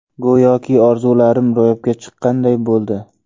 Go‘yoki orzularim ro‘yobga chiqqanday bo‘ldi.